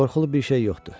Qorxulu bir şey yoxdur.